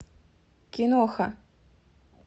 киноха